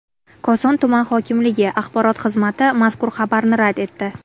Koson tuman hokimligi axborot xizmati mazkur xabarni rad etdi.